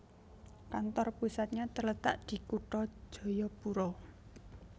Kantor pusatnya terletak di Kutha Jayapura